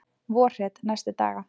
Vorhret næstu daga